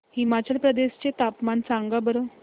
हिमाचल प्रदेश चे तापमान सांगा बरं